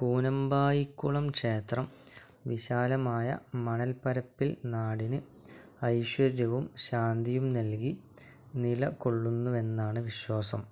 കൂനമ്പായിക്കുളം ക്ഷേത്രം വിശാലമായ മണൽപ്പരപ്പിൽ നാടിന് ഐശ്വര്യവും ശാന്തിയും നൽകി നിലകൊള്ളുന്നുവെന്നാണ് വിശ്വാസം.